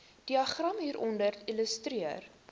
diagram hieronder illustreer